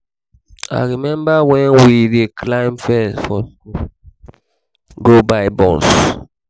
i remember wen we dey climb fence for school go buy buns